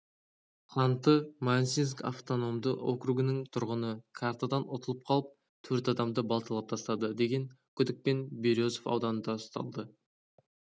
ханты-мансийск автономды округының тұрғыны картадан ұтылып қалып төрт адамды балталап тастады деген күдікпен березов ауданында ұсталды